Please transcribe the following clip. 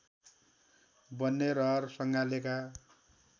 बन्ने रहर सङ्गालेका